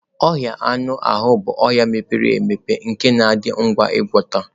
Ọnya anụ ahụ bụ ọnya mepere emepe nke na-adị ngwa ịgwọta.